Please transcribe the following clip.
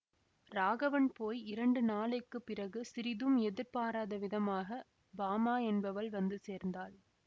ராகவன் போய் இரண்டு நாளைக்கு பிறகு சிறிதும் எதிர்பாராத விதமாக பாமா என்பவள் வந்து சேர்ந்தாள்